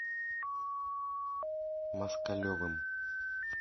москалевым